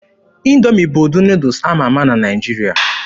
Indoomi bụ ụdị Nuudus ama ama na Naịjirịa.